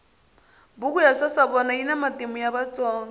buku ya sasavona yina matimu ya vatsonga